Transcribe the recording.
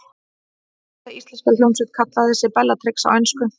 Hvaða íslenska hljómsveit kallaði sig Bellatrix á ensku?